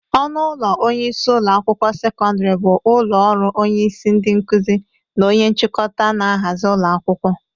Ọnụ ụlọ onyeisi ụlọ akwụkwọ sekọndịrị bụ ụlọ ọrụ onyeisi ndị nkụzi na onya nchịkọta n'ahazị ụlọ akwụkwọ